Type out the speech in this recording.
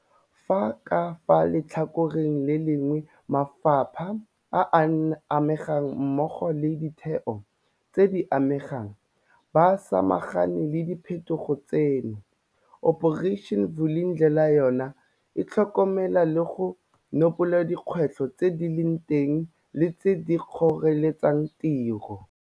Fa ka fa letlhakoreng le lengwe mafapha a a amegang mmogo le ditheo tse di amegang ba samagane le diphetogo tseno, Operation Vulindlela yona e tlhokomela le go nopola dikgwetlho tse di leng teng le tseo di kgoreletsang tiro.